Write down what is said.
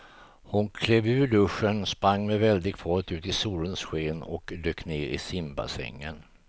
Hon klev ur duschen, sprang med väldig fart ut i solens sken och dök ner i simbassängen.